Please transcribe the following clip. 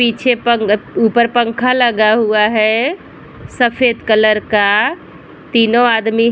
पीछे पंग अ ऊपर पंखा लगा हुआ है सफ़ेद कलर का तीनो आदमी --